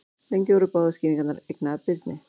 Lengi voru báðar skýringarnar eignaðar Birni.